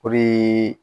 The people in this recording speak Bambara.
O de ye